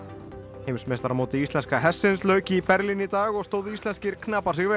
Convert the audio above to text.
heimsmeistaramóti íslenska hestsins lauk í Berlín í dag og stóðu íslenskir knapar sig vel